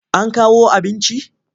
An kawo abinci?